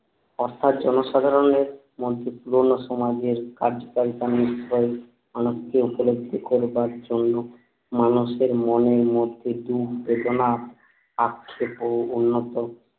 অর্থাৎ জনসাধারণের মধ্যে পুরনো সমাজের কার্যকারিতা অনুজ্ঞা উপলব্ধি করবার জন্য মানুষ এর মনের মধ্যে দুঃখ বেদনা আক্ষেপ ও অন্য